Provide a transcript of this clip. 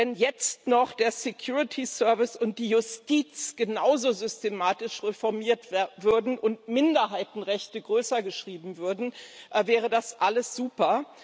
Wenn jetzt noch der Security Service und die Justiz genauso systematisch reformiert würden und Minderheitenrechte größer geschrieben würden, wäre das alles super.